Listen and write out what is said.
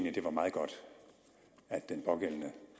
at det var meget godt at den pågældende